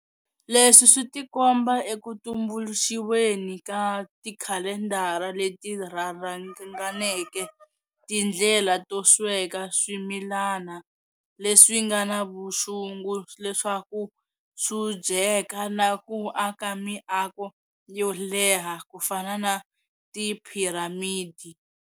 Leswi switikomba ekutumbuluxiweni ka tikhalendara leti rharhanganeke, tindlela to sweka swimilana leswingana vuxungu leswaku swudyeka, na ku aka miako yo leha kufana na tiphiramidi.